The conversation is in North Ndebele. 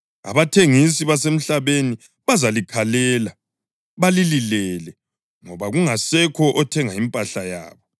Abathengisi basemhlabeni bazalikhalela balililele ngoba kungasekho othenga impahla yabo,